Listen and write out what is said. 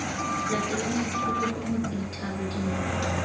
latelang tikologo motse dithaba dinoka